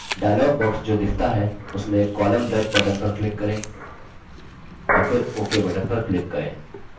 dialog box जो दिखता है उसमें column break button पर click करें और फिर ok button पर click करें